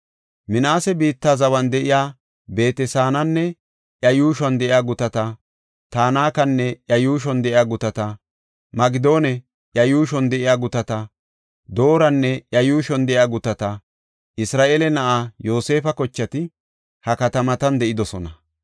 Minaase biitta zawan de7iya Beet-Saananne iya yuushuwan de7iya gutata, Tanakanne iya yuushuwan de7iya gutata, Magidonne iya yuushuwan de7iya gutata, Dooranne iya yuushuwan de7iya gutata. Isra7eele na7aa Yoosefa kochati ha katamatan de7idosona.